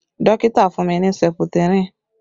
Dókítà fún mi ní seputirin